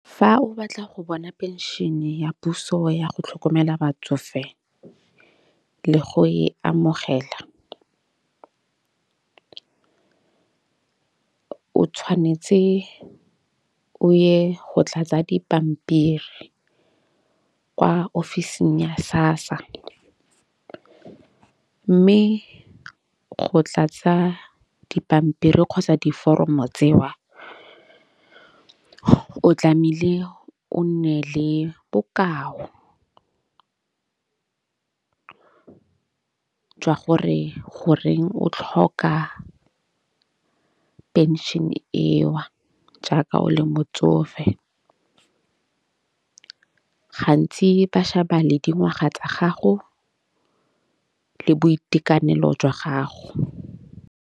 Fa o batla go bona phenšene ya puso ya go tlhokomela batsofe le go e amogela o tshwanetse o ye go tlatsa dipampiri kwa ofising ya SASSA. Mme go tlatsa dipampiri kgotsa diforomo tseo, o tlamile o nne le bokao jwa gore goreng o tlhoka phenšene e o jaaka o le motsofe. Gantsi ba sheba le dingwaga tsa gago le boitekanelo jwa gago.